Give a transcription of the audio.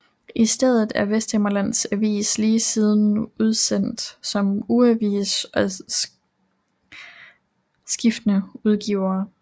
I stedet er Vesthimmerlands Avis lige siden udsendt som ugeavis med skiftende udgivere